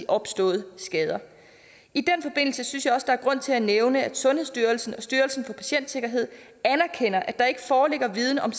opståede skader i den forbindelse synes jeg også der er grund til at nævne at sundhedsstyrelsen og styrelsen for patientsikkerhed anerkender at der ikke foreligger viden om